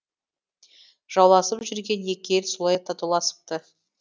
жауласып жүрген екі ел солай татуласыпты